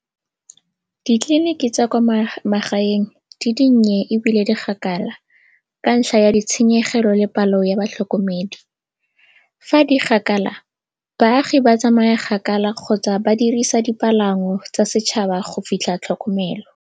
Ditleliniki tsa kwa magaeng di dinnye ebile di kgakala ka ntlha ya ditshenyegelo le palo ya batlhokomedi. Fa di kgakala baagi ba tsamaya kgakala kgotsa ba dirisa dipalangwa tsa setšhaba go fitlha tlhokomelo.